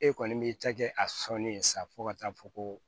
E kɔni b'i ta kɛ a sɔnnen ye sa fo ka taa fɔ ko